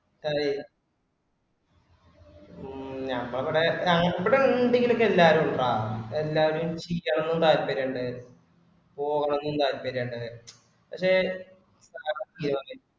ഏഹ് ഹ്മ് ഞമ്മള് ഇവിട ഞ ഇവിടെന്തെങ്കിലും ഒക്കെ ഇണ്ടാല് ഇണ്ടാ എന്താന്ന് ചെയണമനും താല്പര്യം ഇണ്ട് പോകണെന്നും താല്പര്യം ഇണ്ട് പക്ഷെ